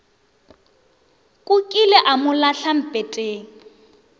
kukile a mo lahla mpeteng